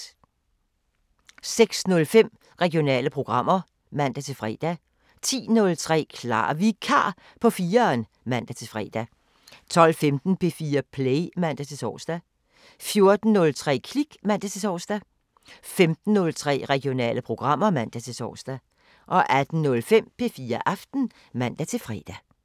06:05: Regionale programmer (man-fre) 10:03: Klar Vikar på 4'eren (man-fre) 12:15: P4 Play (man-tor) 14:03: Klik (man-tor) 15:03: Regionale programmer (man-tor) 18:05: P4 Aften (man-fre)